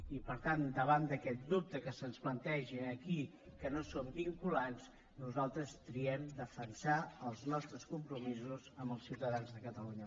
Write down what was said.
i per tant davant d’aquest dubte que se’ns planteja aquí que no són vinculants nosaltres triem defensar els nostres compromisos amb els ciutadans de catalunya